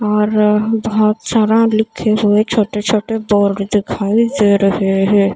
और बहोत सारा लिखे हुए छोटे छोटे बोर्ड दिखाई दे रहे हैं।